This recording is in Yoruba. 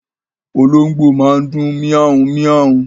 Olóngbó máa ń dùn mia-un-mia-un